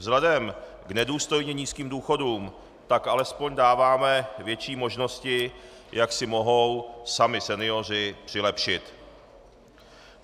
Vzhledem k nedůstojně nízkým důchodům tak alespoň dáváme větší možnosti, jak si mohou sami senioři přilepšit.